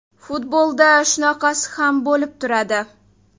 Futbolda shunaqasi ham bo‘lib turadi”.